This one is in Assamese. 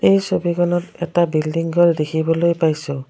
এই ছবিখনত এটা বিল্ডিং ঘৰ দেখিবলৈ পাইছোঁ।